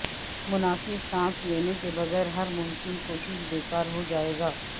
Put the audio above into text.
مناسب سانس لینے کے بغیر ہر ممکن کوشش بیکار ہو جائے گا